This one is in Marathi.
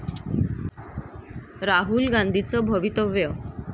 राहुल गांधीचं भवितव्य